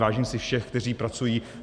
Vážím si všech, kteří pracují.